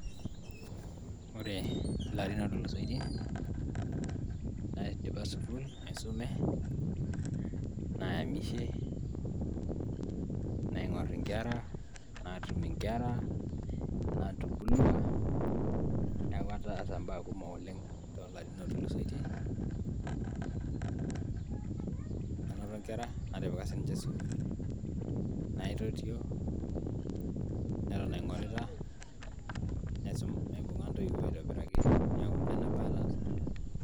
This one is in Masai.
ore ilarin ootulusoitie naidipa sukuul aisume, nayamishe naing'orr natum inkera natubulua niaku ataasa imbaa kumok oleng toolarin ootulusoitie anoto inkera natipika sininche sukuul naitotio neton aing'orita, naibung'a intoiwuo aitobiraki neeku nena baa ataasa.